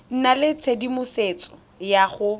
nna le tshedimosetso ya go